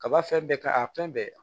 Kaba fɛn bɛɛ ka a fɛn bɛɛ